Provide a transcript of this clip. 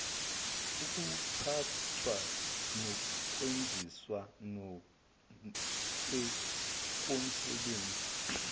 ukuphathwa kokwenziwa komsebenzi